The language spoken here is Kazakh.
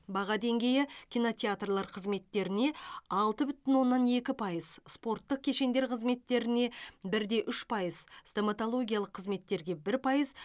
баға деңгейі кинотеатрлар қызметтеріне алты бүтін оннан екі пайыз спорттық кешендер қызметтеріне бір де үш пайыз стоматологиялық қызметтерге бір пайыз